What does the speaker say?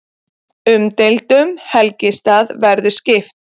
Umdeildum helgistað verði skipt